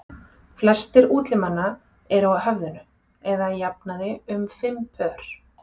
Flestir útlimanna eru á höfðinu eða að jafnaði um fimm pör.